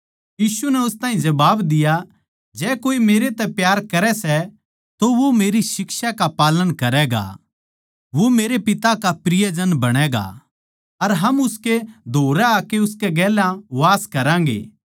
यीशु नै उस ताहीं जबाब दिया जै कोए मेरै तै प्यार करै सै तो वो मेरी शिक्षा का पालन करैगा वो मेरे पिता का प्रियजन बणैगा अर हम उसकै धोरै आकै उसकै गेल्या वास करेंगे